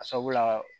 A sabula